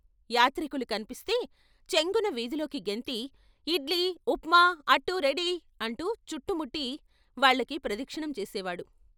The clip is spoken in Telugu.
యాత్రికులు కన్పిస్తే చెంగున వీధిలోకి గెంతి ' ఇడ్లీ, ఉప్మా, అట్టు రెడీ ' అంటూ చుట్టుముట్టి వాళ్ళకి ప్రదక్షిణం చేసేవాడు.